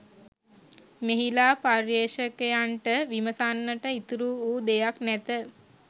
මෙහිලා පර්යේෂකයන්ට විමසන්නට ඉතිරි වූ දෙයක් නැත